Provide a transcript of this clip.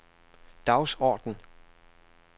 dagsorden